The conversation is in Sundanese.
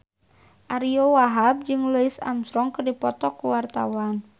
Ariyo Wahab jeung Louis Armstrong keur dipoto ku wartawan